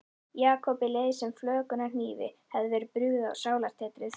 Jakobi leið sem flökunarhnífi hefði verið brugðið á sálartetrið.